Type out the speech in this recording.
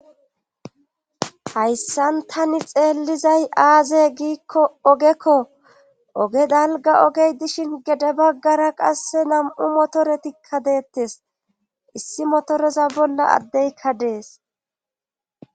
Hayssan tani xeellizay aazey giikko ogekko oge dalga ogey dishin gede baggara qasse nam7u motoretikka deettes issi motoreza bolla addeykka dees